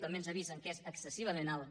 també ens avisen que és excessivament alt